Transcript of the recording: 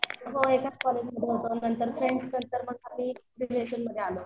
हो एकाच कॉलेजमध्ये होतो नंतर फ्रेंड्स आणि नंतर रिलेशनमध्ये आलो.